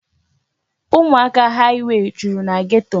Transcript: Ụmụaka haịwey juru na geto.